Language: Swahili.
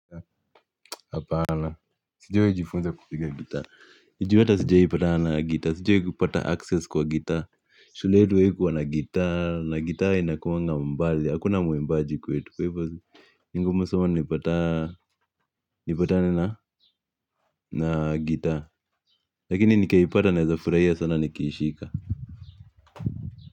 Hapana sijawahi jifunza kupiga gitaa ni juu hata sijawahi kupatana na gitaa sijawahi kupata access kwa gitaa shule yetu haikuwa na gitaa, na gitaa inakuanga mbali, hakuna muimbaji kwetu. Kwa hivyo, ni ngumu sana nipatane na, nipatane na gitaa. Lakini nikaipata naeza furahia sana nikiishika.